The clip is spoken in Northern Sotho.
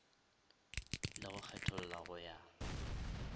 le go kgetholla go ya